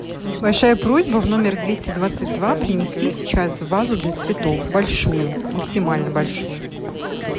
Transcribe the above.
большая просьба в номер двести двадцать два принести сейчас вазу для цветов большую максимально большую